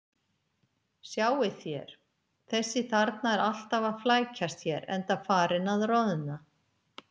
Sjáið þér: Þessi þarna er alltaf að flækjast hér, enda farinn að roðna.